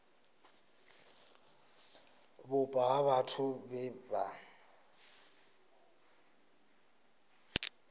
vhupo ha vhathu vhe vha